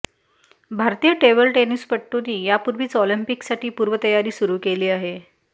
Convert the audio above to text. भारतीय टेबल टेनिसपटूंनी यापूर्वीच ऑलिंपिकसाठी पूर्वतयारी सुरू केली आहे